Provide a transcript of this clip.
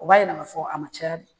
O b'a jira k'a fɔ a ma caya de